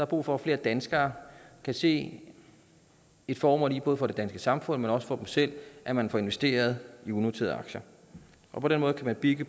brug for at flere danskere kan se et formål i både for det danske samfund men også for dem selv at man får investeret i unoterede aktier på den måde kan man bygge